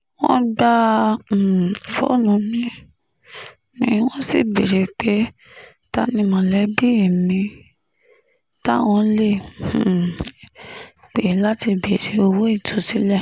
wọ́n gba um fóònù mi mi wọ́n sì béèrè pé ta ni mọ̀lẹ́bí mi táwọn lè um pè láti béèrè owó ìtúsílẹ̀